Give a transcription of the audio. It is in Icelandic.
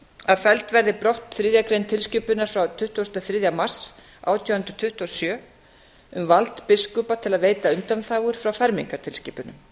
að felld verði brott þriðja grein tilskipunar frá tuttugasta og þriðja mars átján hundruð tuttugu og sjö um vald biskupa til að veita undanþágur frá fermingartilskipunum